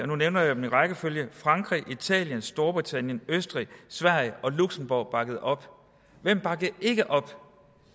nu nævner jeg dem i rækkefølge frankrig italien storbritannien østrig sverige og luxembourg har bakket op hvem bakkede ikke op